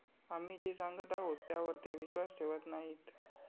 आम्ही जे सांगत आहोत, त्यावर ते विश्वास ठेवत नाहीत.